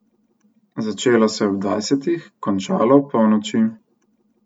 Začelo se je ob dvajsetih, končalo opolnoči.